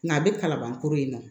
Nka a bɛ kalaban kura in na